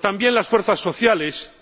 También las fuerzas sociales